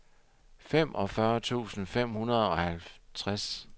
femogfyrre tusind fem hundrede og halvtreds